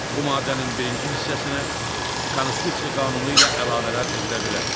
Bu maddənin birinci hissəsinə konstitusiya qanunu ilə əlavələr edilə bilər.